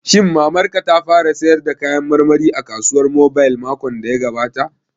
Shin Mamar ka ta fara sayar da kayan marmari a kasuwar mobile makon da ya gabata?